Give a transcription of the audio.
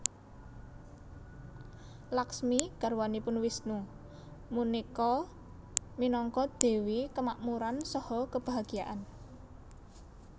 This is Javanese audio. Lakhsmi garwanipun Wisnu punika minangka dewi kemakmuran saha kebahagiaan